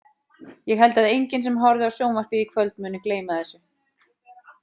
Ég held að enginn sem horfði á sjónvarpið í kvöld muni gleyma þessu.